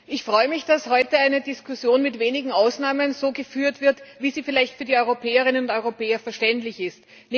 Ich freue mich, dass heute eine Diskussion mit wenigen Ausnahmen so geführt wird, wie sie vielleicht für die Europäerinnen und Europäer verständlich ist.